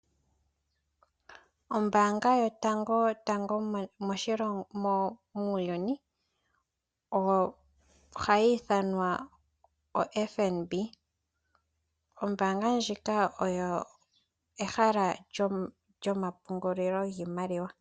Ombaanga yotangotango muuyuni ohayi ithanwa oFNB, ombaanga ndjika oyo ehala lyomapungulilo giimaliwa.